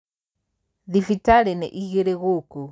Thibitarĩ nĩ igĩrĩ gũkũ.